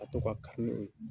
Ka to ka kari n' o ye